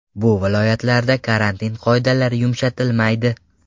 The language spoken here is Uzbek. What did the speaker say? Bu viloyatlarda karantin qoidalari yumshatilmaydi.